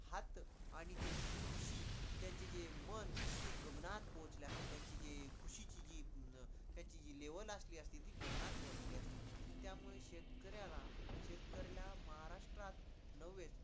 आणि त्यांची खुशी, त्यांचे जे मन ते गगनात पोचले असतील त्यांची जी खुशीची जी काय ती level असती ती गगनात पोहोचली असती, त्यामुळं शेतकऱ्याला शेतकऱ्याला महाराष्ट्रात न्हवे